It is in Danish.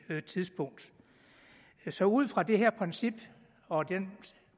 tidspunkt så ud fra det her princip og den